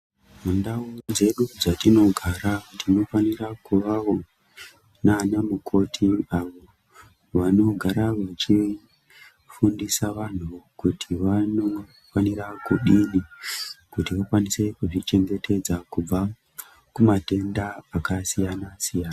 Mundau dzedu dzatinogara tinofana kuvavo nana mukoti avo vanogara vechifundisa vantu kuti vanofanira kudini kuti vakwanise kuzvichengetedza kubva kumatenda akasiyana siyana.